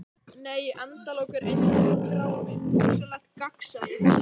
Nei endalok eru einfaldur grámi: hugsanlegt gagnsæi.